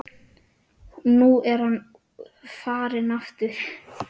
Nú er hann farinn aftur